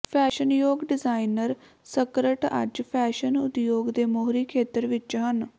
ਫੈਸ਼ਨਯੋਗ designer skirt ਅੱਜ fashion ਉਦਯੋਗ ਦੇ ਮੋਹਰੀ ਖੇਤਰ ਵਿਚ ਹਨ